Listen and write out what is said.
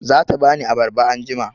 Za ta ba ni abarba anjima.